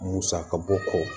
Musaka bɔ kɔ